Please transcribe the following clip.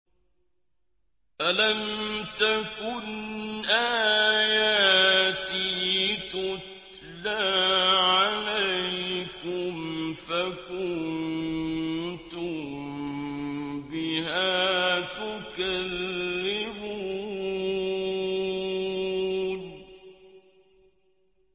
أَلَمْ تَكُنْ آيَاتِي تُتْلَىٰ عَلَيْكُمْ فَكُنتُم بِهَا تُكَذِّبُونَ